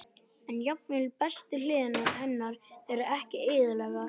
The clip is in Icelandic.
En jafnvel bestu hliðar hennar eru ekki eðlilegar.